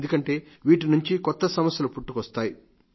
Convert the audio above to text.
ఎందుకంటే వీటినుండి కొత్త సమస్యలు పుట్టుకొస్తున్నాయి